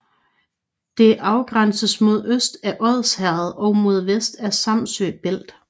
Det afgrænses mod øst af Odsherred og mod vest af Samsø Bælt